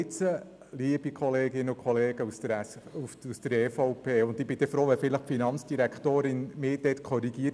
Liebe Kolleginnen und Kollegen der EVP – wenn ich jetzt falsch liege, bin ich froh, wenn die Finanzdirektorin mich korrigiert.